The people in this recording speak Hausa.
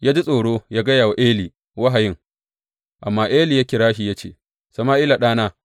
Ya ji tsoro yă gaya wa Eli wahayin, amma Eli ya kira shi ya ce, Sama’ila, ɗana.